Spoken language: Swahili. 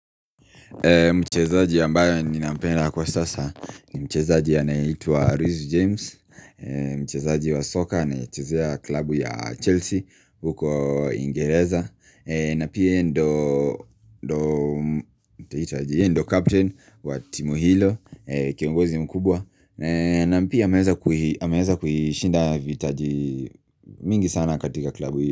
Mchezaji ambaye ninampenda kwa sasa Mchezaji anaitwa Luis James Mchezaji wa soka anayechezea klabu ya Chelsea huko uingereza na pia yeye ndio ndio nitaita aje? Ye ndio captain wa timu hilo Kiongozi mkubwa na pia ameweza kuishinda vitaji mingi sana katika klabu hiyo.